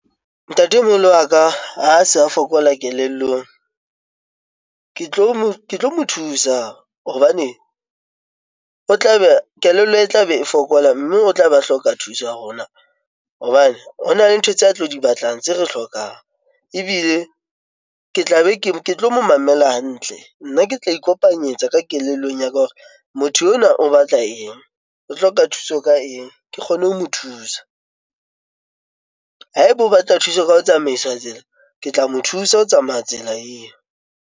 Ntatemoholo wa ka a se a fokola kelellong ke tlo mo thusa hobane o tla be a kelello e tla be e fokola mme o tla be a hloka thuso ya rona. Hobane ho na le ntho tse a tlo di batlang tse re hlokang, ebile ke tla be ke tlo mo mamela hantle, nna ke tla ikopanya tsa ka kelellong ya ka hore motho enwa o batla eng, o hloka thuso ka eng ke kgone ho mo thusa jwang haeba o batla thuso ka ho tsamaisa tsela, ke tla mo thusa ho tsamaya tsela eo.